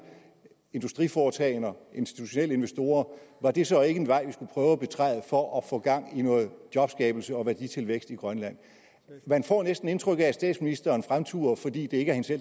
industriforetagender institutionelle investorer var det så ikke en vej vi skulle prøve at betræde for at få gang i noget jobskabelse og værditilvækst i grønland man får næsten indtryk af at statsministeren fremturer fordi det ikke